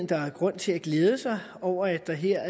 der er grund til at glæde sig over at der her